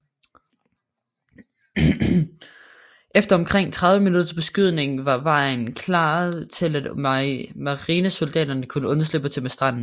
Efter omkring 30 minutters beskydning var vejen klaret til at marinesoldaterne kunne undslippe til stranden